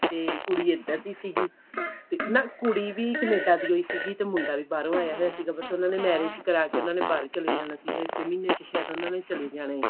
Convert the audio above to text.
ਤੇ ਕੁੜੀ ਇੱਧਰ ਦੀ ਸੀਗੀ ਤੇ ਨਾ ਕੁੜੀ ਵੀ ਕਨੇਡਾ ਦੀ ਹੀ ਸੀਗੀ ਤੇ ਮੁੰਡਾ ਵੀ ਬਾਹਰੋਂ ਆਇਆ ਹੋਇਆ ਸੀਗਾ ਬਸ ਉਹਨਾਂ ਨੇ marriage ਕਰਾ ਕੇ ਬਾਹਰ ਹੀ ਚਲੇ ਜਾਣਾ ਸੀਗਾ ਇਸੇ ਮਹੀਨੇ ਵਿੱਚ ਉਹਨਾ ਨੇ ਸ਼ਾਇਦ ਚਲੇ ਜਾਣਾ ਏ